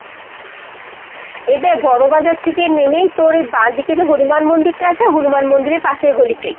এ দ্যাখ বড়বাজার থেকে নেমেই তোর এ বাঁ দিকে যে হনুমান মন্দিরটা আছে হনুমান মন্দিরের পাশের গলিতেই।